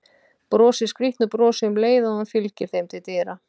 Brosir skrýtnu brosi um leið og hann fylgir þeim til dyra.